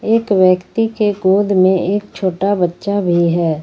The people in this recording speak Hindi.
एक व्यक्ति के गोद में एक छोटा बच्चा भी है।